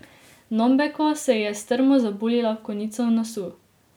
Nombeko se ji je strmo zabuljila v konico nosu.